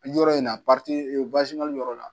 Yɔrɔ in na yɔrɔ la